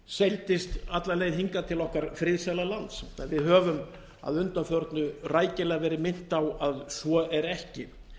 seildist alla leið hingað til okkar friðsæla lands en við höfum að undanförnu rækilega verið minnt á að svo er ekki